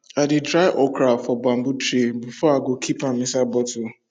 i dey dry okra for bamboo tray before i go keep am inside bottle